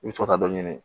I bɛ to ka taa dɔ ɲini